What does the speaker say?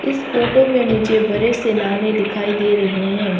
इस फोटो में मुझे बड़े से नाले दिखाई दे रहे हैं।